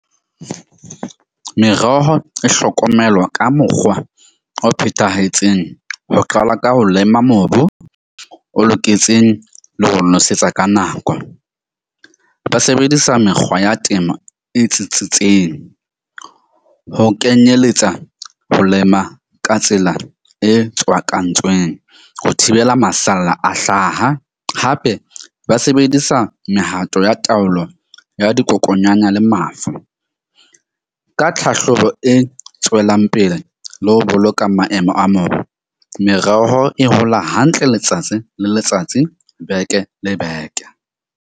Meroho e hlokomelwa ka mokgwa o phethahetseng ho qala ka ho lema mobu o loketseng, le ho nosetsa ka nako. Ba sebedisa mekgwa ya temo e tsitsitseng. Ho kenyelletsa ho lema ka tsela e tswakantsweng ho thibela masalla a hlaha. Hape ba sebedisa mehato ya taolo ya dikokonyana le mafu ka tlhahlobo e tswelang pele le ho boloka maemo a mobu. Mereho e hola hantle letsatsi le letsatsi beke le beke.